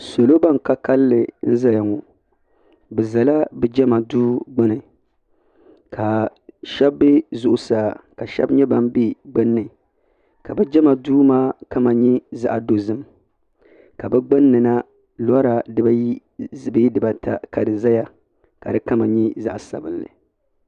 Salo ban ka kalli n zaya ŋɔ bɛ zala bɛ jema duu gbini ka sheba be zuɣusaa ka sheba nyɛ ban be gbinni ka bɛ jema duu maa kama nyɛ zaɣa dozim ka bɛ gbinni na lora dibaayi bee dibaata ka di zaya ka di kama nyɛ zaɣa sabinli